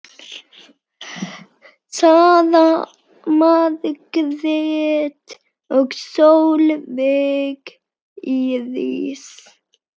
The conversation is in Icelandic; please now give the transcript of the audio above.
Sara Margrét og Sólveig Íris.